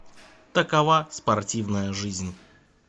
такова спортивная жизнь